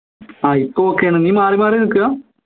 ആഹ് ഇപ്പൊ okay യാണ് നീ മാറി മാറി നിക്കാ